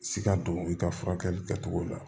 Siga don i ka furakɛli kɛcogo la